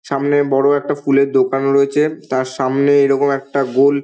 সামনে বড়ো একটা ফুলের দোকান রয়েছে। তার সামনে এরকম একটা গোল--